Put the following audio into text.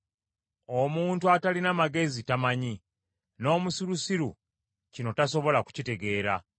Omuntu atalina magezi tamanyi; n’omusirusiru kino tasobola kukitegeera;